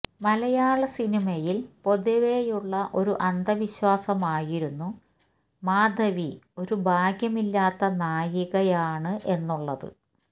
മലയാള സിനിമയില് പൊതുവേയുള്ള ഒരു അന്ധവിശ്വാസമായിരുന്നു മാധവി ഒരു ഭാഗ്യമില്ലാത്ത നായികയാണ് എന്നുള്ളത്